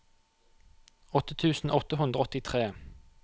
åtte tusen åtte hundre og åttitre